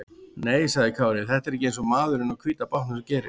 Nei, sagði Kári, þetta var ekki eins og maðurinn á hvíta bátnum gerir.